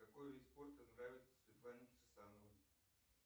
какой вид спорта нравится светлане кирсановой